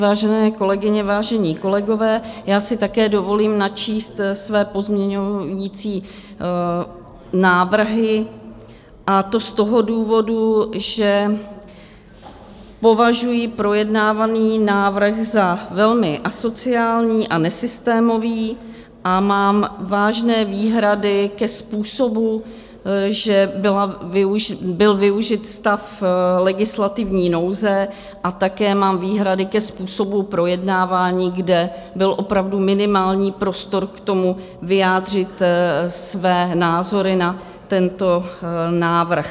Vážené kolegyně, vážení kolegové, já si také dovolím načíst své pozměňovací návrhy, a to z toho důvodu, že považuji projednávaný návrh za velmi asociální a nesystémový a mám vážné výhrady ke způsobu, jak byl využit stav legislativní nouze, a také mám výhrady ke způsobu projednávání, kde byl opravdu minimální prostor k tomu, vyjádřit své názory na tento návrh.